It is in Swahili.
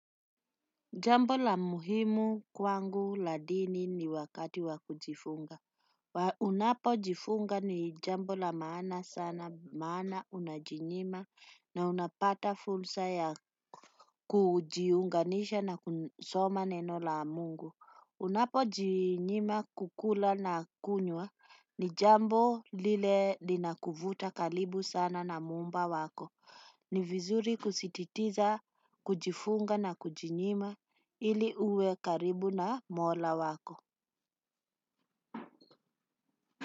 Jambo la muhimu kwangu la dini ni wakati wa kujifunga. Unapo jifunga ni jambo la maana sana, maana unajinyima na unapata fulsa ya kujiunganisha na kusoma neno la Mungu. Unapo jinyima kukula na kunywa ni jambo lile linakuvuta kalibu sana na muumba wako. Ni vizuri kusititiza, kujifunga na kujinyima ili uwe karibu na Mola wako.